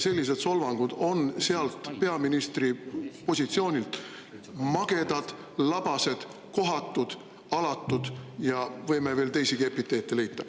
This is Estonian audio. Sellised solvangud peaministri positsioonilt on magedad, labased, kohatud, alatud, ja võime veel teisigi epiteete leida.